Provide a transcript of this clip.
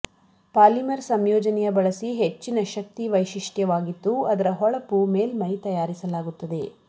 polymer ಸಂಯೋಜನೆಯ ಬಳಸಿ ಹೆಚ್ಚಿನ ಶಕ್ತಿ ವೈಶಿಷ್ಟ್ಯವಾಗಿತ್ತು ಅದರ ಹೊಳಪು ಮೇಲ್ಮೈ ತಯಾರಿಸಲಾಗುತ್ತದೆ